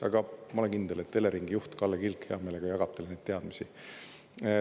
Aga ma olen kindel, et Eleringi juht Kalle Kilk hea meelega jagab teile neid teadmisi.